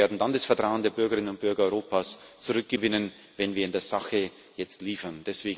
Und wir werden dann das Vertrauen der Bürgerinnen und Bürger Europas zurückgewinnen, wenn wir in der Sache jetzt liefern.